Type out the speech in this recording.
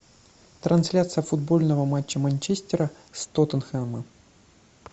трансляция футбольного матча манчестера с тоттенхэмом